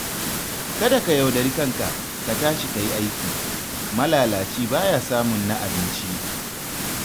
Kada ka yaudari kanka, ka tashi ka yi aiki, malalaci baya samun na abinci.